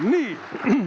Nii.